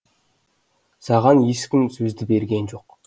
саған ешкім сөзді берген жоқ